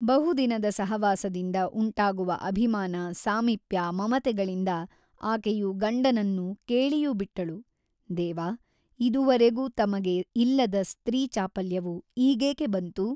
ಬಹುದಿನದ ಸಹವಾಸದಿಂದ ಉಂಟಾಗುವ ಅಭಿಮಾನ ಸಾಮೀಪ್ಯ ಮಮತೆಗಳಿಂದ ಆಕೆಯು ಗಂಡನನ್ನು ಕೇಳಿಯೂಬಿಟ್ಟಳು ದೇವ ಇದುವರೆಗೂ ತಮಗೆ ಇಲ್ಲದ ಸ್ತ್ರೀ ಚಾಪಲ್ಯವು ಈಗೇಕೆ ಬಂತು ?